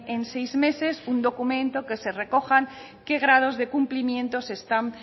en seis meses un documento que se recojan en qué grados de cumplimientos están